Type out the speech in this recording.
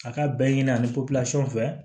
A ka bɛɛ ɲini a ni fɛ